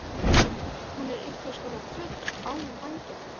Hún er einhverskonar fugl án vængja.